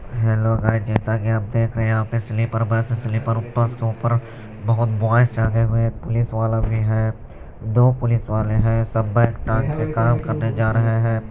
Hello guys जैसे की आप देख रहे हैयहाँ पे स्लीपर बस स्लीपर बस के ऊपर बहुत बॉयज चघे हुवे है पुलिस वाला भी है दो पुलिस वाले है सब बेग टांग के काम करने जा रहे हैं।